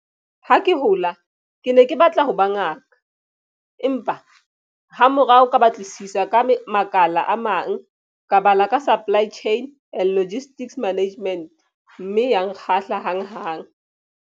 Ha ke hola ke ne ke batla ho ba ngaka, empa hamorao ka batlisisa ka makala a mang. Ka bala ka supply chain and logistics management mme ya nkgahla hanghang.